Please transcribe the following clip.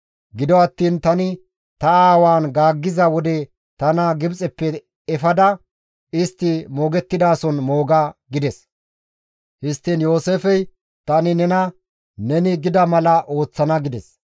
Gido attiin tani ta aawatan gaaggiza wode tana Gibxeppe efada istti moogettidason mooga» gides. Histtiin Yooseefey, «Tani nena neni gida mala ooththana» gides.